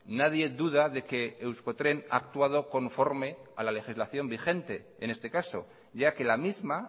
nadie duda de que euskotren ha actuado conforme a la legislación vigente en este caso ya que la misma